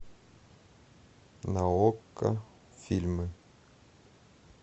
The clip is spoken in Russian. на окко фильмы